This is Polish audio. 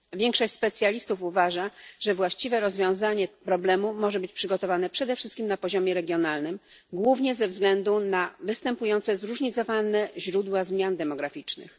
Większość specjalistów uważa, że właściwe rozwiązanie problemu może być przygotowane przede wszystkim na poziomie regionalnym, głównie ze względu na występujące zróżnicowane źródła zmian demograficznych.